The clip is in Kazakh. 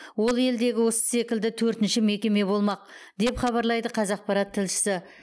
ол елдегі осы секілді төртінші мекеме болмақ деп хабарлайды қазақпарат тілшісі